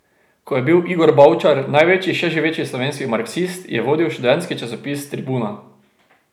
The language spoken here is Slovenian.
Ko je bil Igor Bavčar največji še živeči slovenski marksist, je vodil študentski časopis Tribuna.